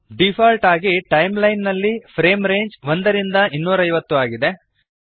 default ಆಗಿ timeline ನಲ್ಲಿ frame range 1 ರಿಂದ 250 ಆಗಿದೆ